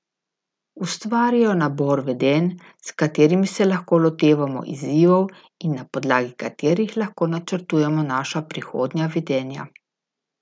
Ustvarjajo nabor vedenj, s katerimi se lahko lotevamo izzivov in na podlagi katerih lahko načrtujemo naša prihodnja vedenja.